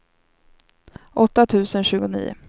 åtta tusen tjugonio